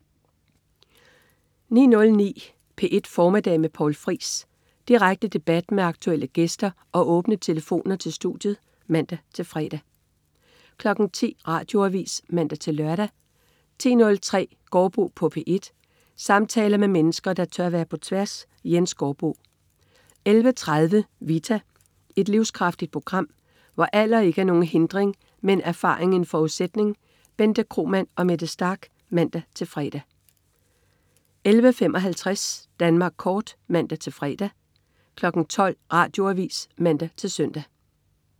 09.09 P1 Formiddag med Poul Friis. Direkte debat med aktuelle gæster og åbne telefoner til studiet (man-fre) 10.00 Radioavis (man-lør) 10.03 Gaardbo på P1. Samtaler med mennesker, der tør være på tværs. Jens Gaardbo 11.30 Vita. Et livskraftigt program, hvor alder ikke er nogen hindring, men erfaring en forudsætning. Bente Kromann og Mette Starch (man-fre) 11.55 Danmark Kort (man-fre) 12.00 Radioavis (man-søn)